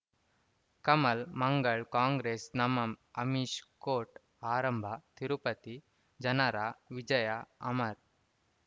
ಕಮಲ್ ಮಂಗಳ್ ಕಾಂಗ್ರೆಸ್ ನಮಃ ಅಮಿಷ್ ಕೋರ್ಟ್ ಆರಂಭ ತಿರುಪತಿ ಜನರ ವಿಜಯ ಅಮರ್